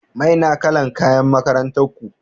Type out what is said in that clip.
Mai na kala'n kayan makarantan ku?